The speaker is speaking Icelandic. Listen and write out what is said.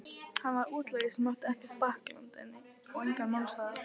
Hann var útlagi sem átti ekkert bakland, engan málsvara.